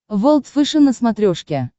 волд фэшен на смотрешке